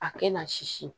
A kɛ na sisi